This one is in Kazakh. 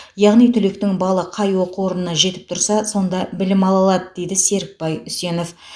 яғни түлектің балы қай оқу орнына жетіп тұрса сонда білім ала алады дейді серікбай үсенов